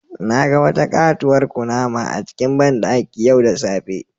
Na ga wata katuwar kunama a cikin bandaki yau da safe.